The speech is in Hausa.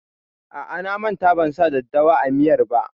A'a, na manta ban sa daddawa a miyar ba.